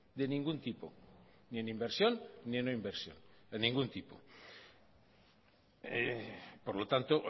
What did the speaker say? de ningún tipo ni en inversión ni en no inversión de ningún tipo por lo tanto